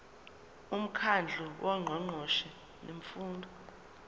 umkhandlu wongqongqoshe bemfundo